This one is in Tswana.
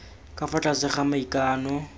ka fa tlase ga maikano